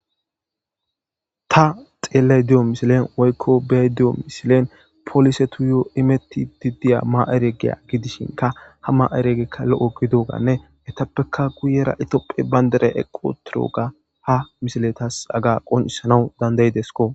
ta xeellay de7o misilen woykko be7ay de7iyo misilen polisetuyo imettidi diya ma7ereegiya gidishinka ha ma7ereegekka lo7o gididoganne etappeka guyera itiophe banderay equ utiroga ha misile tas haga qoncissanawu dandayidesko